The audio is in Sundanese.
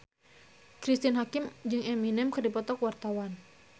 Cristine Hakim jeung Eminem keur dipoto ku wartawan